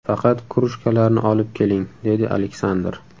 Faqat krujkalarni olib keling”, dedi Aleksandr.